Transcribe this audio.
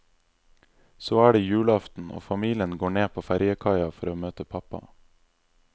Så er det julaften og familien går ned på fergekaia for å møte pappa.